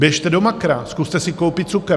Běžte do Makra, zkuste si koupit cukr!